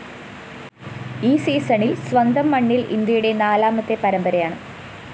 ഈ സീസണില്‍ സ്വന്തം മണ്ണില്‍ ഇന്ത്യയുടെ നാലാമത്തെ പരമ്പരായാണ്